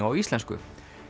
á íslensku